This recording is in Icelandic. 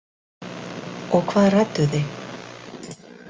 Og hvað rædduð þið?